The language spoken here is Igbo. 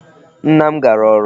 Nna m gara ọrụ.